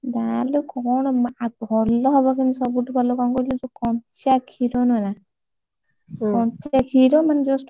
ନା ଲୋ, କଣ ଭଲ ହବ, କିନ୍ତୁ ସବୁଠୁ ଭଲ କଣ କହିଲୁ? ଯୋଉ କଞ୍ଚା କ୍ଷୀର ନୁହେଁ ନା କଞ୍ଚା କ୍ଷୀର ମାନେ just